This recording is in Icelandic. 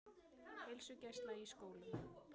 Heilsugæsla í skólum